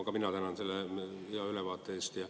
Ka mina tänan selle hea ülevaate eest.